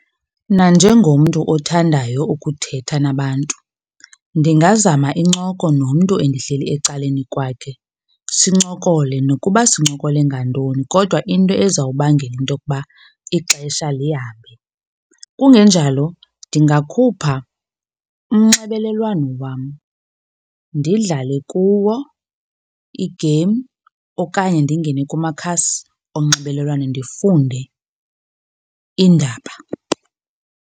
Nanjengomntu othandayo ukuthetha nabantu ndingazama incoko nomntu endihleli ecaleni kwakhe, sincokole nokuba sincokole ngantoni kodwa into ezawubangela into yokuba ixesha lihambe. Kungenjalo, ndingakhupha umnxebelelwano wam ndidlale kuwo iigeyimu okanye ndingene kumakhasi onxibelelwano ndifunde iindaba.